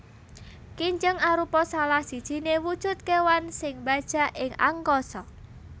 Kinjeng arupa salah sijiné wujud kéwan sing mbajak ing angkasa